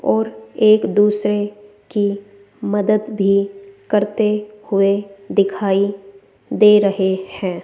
और एक दूसरे की मदद भी करते हुए दिखाई दे रहे हैं।